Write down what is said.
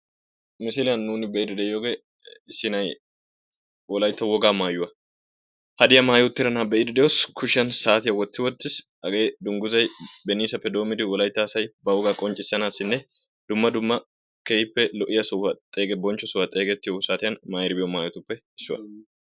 Misiliyan nuuni be'iidi de"iyogee issi na'ay wolaytta wogaa maayuwa hadyiya maayi uttida na'aa beiidi doos. Kushiyan saatiyaa wotti wottiis. Hagee dunguzay benisaappe doommidi wolayitta asay ba wogaa qonccissanassinne dumma dumma keehippe lo'iyaa sohuwaa xeegi bonchcho sohuwaa xeegettiyo saatiyan maayidi biyo maayotuppe issuwaa.